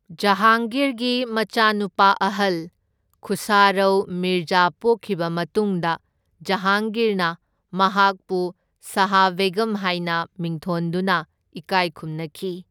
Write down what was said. ꯖꯍꯥꯡꯒꯤꯔꯒꯤ ꯃꯆꯥꯅꯨꯄꯥ ꯑꯍꯜ ꯈꯨꯁꯔꯧ ꯃꯤꯔꯖꯥ ꯄꯣꯛꯈꯤꯕ ꯃꯇꯨꯡꯗ ꯖꯍꯥꯡꯒꯤꯔꯅ ꯃꯍꯥꯛꯄꯨ ꯁꯍꯥ ꯕꯦꯒꯝ ꯍꯥꯢꯅ ꯃꯤꯡꯊꯣꯟꯗꯨꯅ ꯏꯀꯥꯢ ꯈꯨꯝꯅꯈꯤ꯫